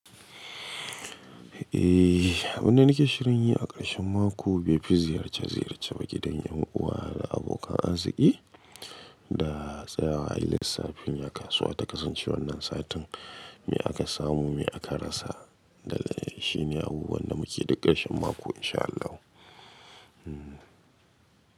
Eh abun da nake shirin yi a ƙarshen mako, be fi ziyarce ziyarce ba gidan yan uwa da abokan arziki da tsayawa a lissafin yakasuwa ta kasance wannan satin me aka samu me aka rasa. Da shi ne abubuwan da muke duk ƙarshen mako in sha Allahu. Hmm.